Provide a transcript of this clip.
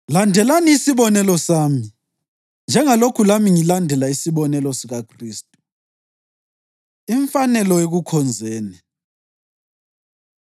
Landelani isibonelo sami, njengalokhu lami ngilandela isibonelo sikaKhristu. Imfanelo Ekukhonzeni